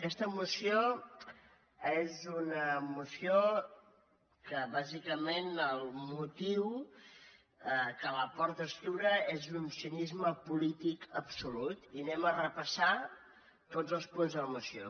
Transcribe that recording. aquesta moció és una moció que bàsicament el motiu que la porta a escriure és d’un cinisme polític absolut i anem a repassar tots els punts de la moció